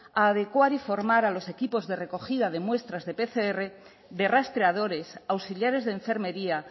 a adecuar y formar a los equipos de recogida de muestras de pcr de rastreadores auxiliares de enfermería